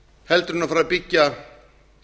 heldur en fara að byggja